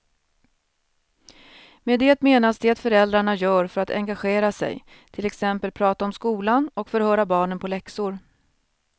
Med det menas det föräldrarna gör för att engagera sig, till exempel prata om skolan och förhöra barnen på läxor.